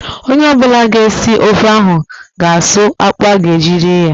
Ọnye ọbụla ga esi ofe ga a suu akpụ a ga eji eri ya